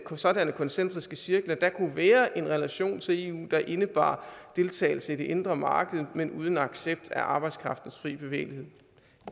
sådanne koncentriske cirkler kunne være en relation til eu der indebar deltagelse i det indre marked men uden accept af arbejdskraftens frie bevægelighed